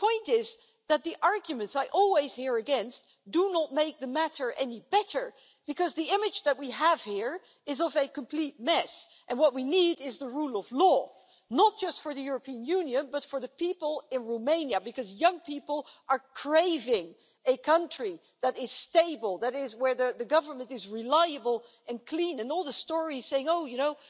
The point is that the arguments I always hear against do not make the matter any better, because the image that we have here is of a complete mess, and what we need is the rule of law, not just for the European Union, but for the people in Romania, because young people are craving a country that is stable, where the government is reliable and clean, and all the stories saying, oh, you know,